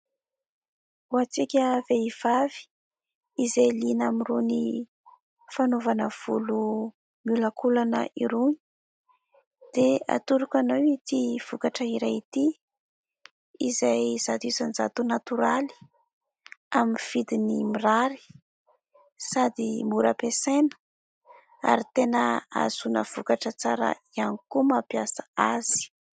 Ho antsika vehivavy izay liana amin'irony fanaovana volo miolakolana irony dia atoroko anao ity vokatra iray ity izay zato isan-jato natoraly, amin'ny vidiny mirary sady mora ampiasaina, ary tena ahazoana vokatra tsara ihany koa mampiasa azy.